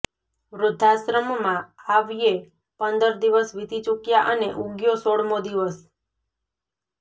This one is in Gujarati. વૃદ્ધાશ્રમમાં આવ્યે પંદર દિવસ વીતી ચુક્યા અને ઉગ્યો સોળમો દિવસ